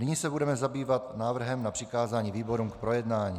Nyní se budeme zabývat návrhem na přikázání výborům k projednání.